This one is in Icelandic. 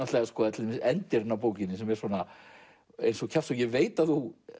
til dæmis endirinn á bókinni sem er eins og kjaftshögg ég veit að þú